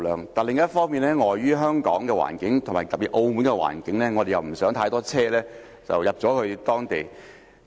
不過，另一方面，礙於香港的環境，以及特別是澳門的環境，我們不希望太多車輛進入有關地區。